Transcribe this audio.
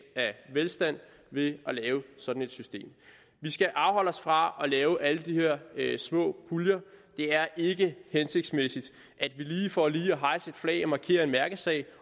af velstand ved at lave sådan et system vi skal afholde os fra at lave alle de her små puljer det er ikke hensigtsmæssigt at vi for lige at hejse et flag og markere en mærkesag